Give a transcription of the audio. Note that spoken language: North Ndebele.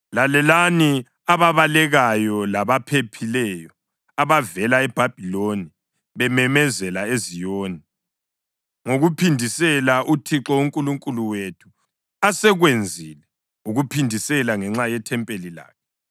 Lalelani ababalekayo labaphephileyo abavela eBhabhiloni bememezela eZiyoni ngokuphindisela uThixo uNkulunkulu wethu asekwenzile, ukuphindisela ngenxa yethempeli lakhe.